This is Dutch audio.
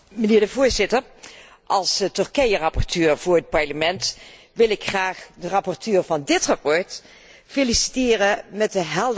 Als Turkije rapporteur voor het Parlement wil ik graag de rapporteur van dit verslag feliciteren met de helderheid van zijn voorstellen.